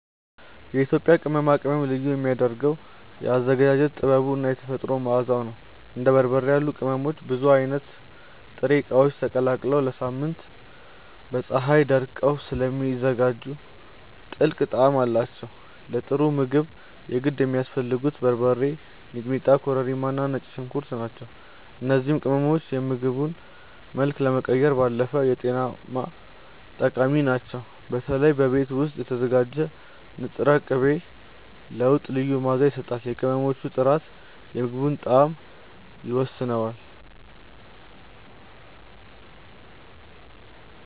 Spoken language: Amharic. የኢትዮጵያ ቅመማ ቅመም ልዩ የሚያደርገው የአዘገጃጀት ጥበቡ እና የተፈጥሮ መዓዛው ነው። እንደ በርበሬ ያሉ ቅመሞች ብዙ አይነት ጥሬ እቃዎች ተቀላቅለው ለሳምንታት በፀሀይ ደርቀው ስለሚዘጋጁ ጥልቅ ጣዕም አላቸው። ለጥሩ ምግብ የግድ የሚያስፈልጉት በርበሬ፣ ሚጥሚጣ፣ ኮረሪማ እና ነጭ ሽንኩርት ናቸው። እነዚህ ቅመሞች የምግቡን መልክ ከመቀየር ባለፈ ለጤናም ጠቃሚ ናቸው። በተለይ በቤት ውስጥ የተዘጋጀ ንጥር ቅቤ ለወጥ ልዩ መዓዛ ይሰጣል። የቅመሞቹ ጥራት የምግቡን ጣዕም ይወስነዋል።